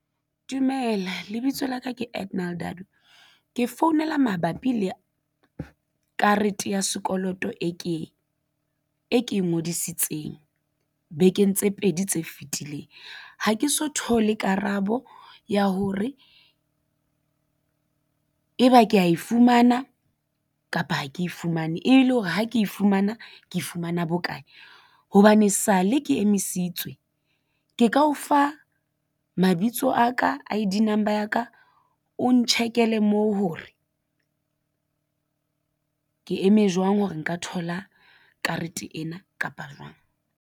Dumela lebitso la ka ke Edenal Dadu. Ke founela mabapi le karete ya sekoloto e ke e ngodisitseng bekeng tse pedi tse fetileng. Ha ke so thole karabo ya hore e ba ke ya e fumana kapa ha ke e fumane e le hore ha ke fumana ke fumana bokae hobane sale ke emisitswe ke ka o fa mabitso a ka I_D number ya ka o ntjhekele moo hore ke eme jwang hore nka thola karete ena kapa jwang?